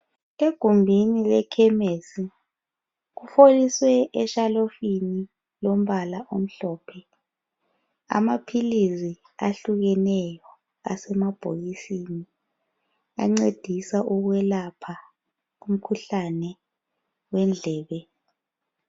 Egumbini lekhemesi kufoliswe eshelufini yombala omhlophe amaphilisi ahlukaneyo asemabhokisini ancedisa ukwelapha umkhuhlane wendlebe.